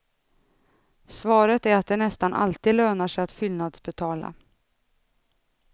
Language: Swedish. Svaret är att det nästan alltid lönar sig att fyllnadsbetala.